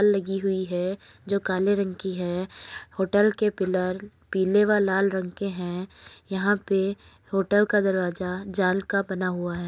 लगी हुई है जो काले रंग की है। होटल के पिलर पीले व लाल रंग के है। यहाँ पे होटल का दरवाजा जाल का बना हुआ है।